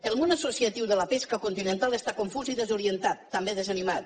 el món associatiu de la pesca continental està confús i desorientat també desanimat